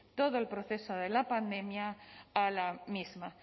todo el proceso de la pandemia a la misma